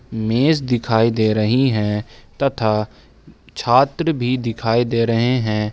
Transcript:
मेज दिखाई दे रही है तथा छात्र भी दिखाई दे रहे हैं।